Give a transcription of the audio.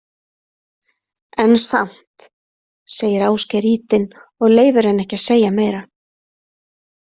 En samt, segir Ásgeir ýtinn og leyfir henni ekki að segja meira.